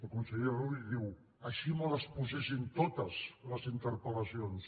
el conseller rull diu així me les posessin totes les interpel·lacions